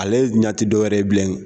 Ale ɲɛ ti dɔwɛrɛ ye bilen